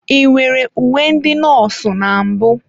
Ị nwere uwe ndị nọọsụ na mbụ?